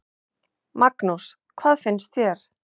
Magnús: Hvað finnst þér?